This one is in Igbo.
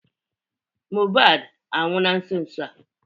Mobad anwụ na nso nso a